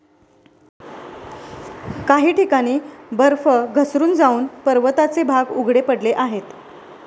काही ठिकाणी बर्फ घसरून जावून पर्वताचे भाग उघडे पडले आहेत.